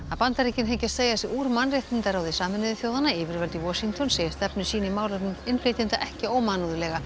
Bandaríkin hyggjast segja sig úr mannréttindaráði Sameinuðu þjóðanna yfirvöld í Washington segja stefnu sína í málefnum innflytjenda ekki ómannúðlega